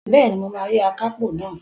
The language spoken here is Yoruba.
Bẹ́ẹ̀ni, mo máa rí akápò náà